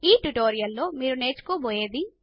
ఈ ట్యూటోరియల్ లో మీరు నేర్చుకొబోయేది